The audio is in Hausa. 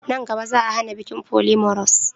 Nan gaba, Za'a hana bikin polyamorous.